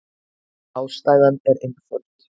Ástæðan er einföld.